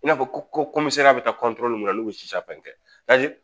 I n'a fɔ ko bɛ taa min na n'u bɛ si sa fɛn kɛ